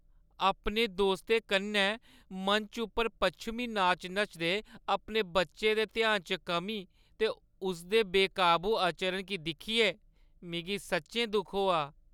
अपने दोस्तें कन्नै मंच उप्पर पच्छमीं नाच नचदे अपने बच्चे दे ध्यान च कमी ते उसदे बेकाबू आचरण गी दिक्खियै मिगी सच्चैं दुख होआ।